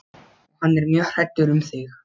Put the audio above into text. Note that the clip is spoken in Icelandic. Og hann er mjög hræddur um þig.